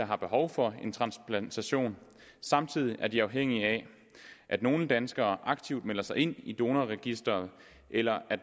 har behov for en transplantation og samtidig er de afhængige af at nogle danskere aktivt melder sig ind i donorregistret eller at